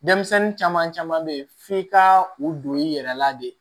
Denmisɛnnin caman caman be ye f'i ka u don i yɛrɛ la de